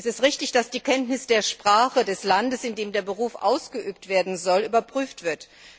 Es ist richtig, dass die Kenntnis der Sprache des Landes, in dem der Beruf ausgeübt werden soll, überprüft wird.